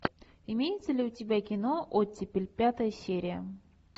имеется ли у тебя кино оттепель пятая серия